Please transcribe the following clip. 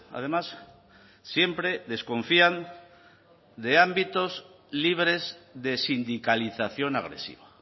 además siempre desconfían de ámbitos libres de sindicalización agresiva